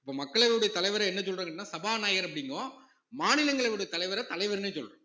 அப்ப மக்களவையுடைய தலைவரே என்ன சொல்றாருன்னு கேட்டீங்கன்னா சபாநாயகர் அப்படிங்கும் மாநிலங்களவையோட தலைவர தலைவர்னே சொல்லணும்